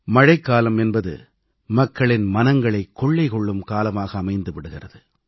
மழைக்காலம் என்பது மக்களின் மனங்களைக் கொள்ளை கொள்ளும் காலமாக அமைந்து விடுகிறது